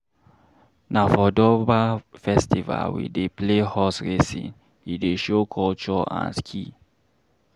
Na for Durbar festival we dey play horse racing, e dey show culture and skill.